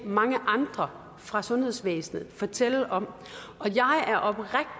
mange andre fra sundhedsvæsenet fortælle om